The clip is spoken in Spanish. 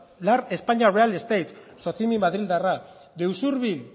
lar españa real estate socini madrildarra de usurbil